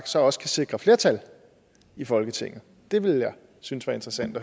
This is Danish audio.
så også kan sikre flertal i folketinget det ville jeg synes var interessant